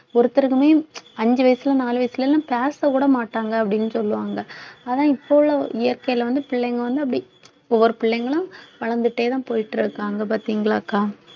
ஒருத்தருக்குமே அஞ்சு வயசுல நாலு வயசுல எல்லாம் பேசக்கூட மாட்டாங்க அப்படின்னு சொல்லுவாங்க ஆனா இப்ப உள்ள இயற்கையில வந்து பிள்ளைங்க வந்து அப்படி ஒவ்வொரு பிள்ளைங்களும் வளர்ந்துட்டேதான் போயிட்டு இருக்காங்க பார்த்தீங்களாக்கா